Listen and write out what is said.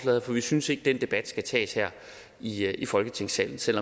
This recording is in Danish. vi synes ikke at den debat skal tages her i i folketingssalen selv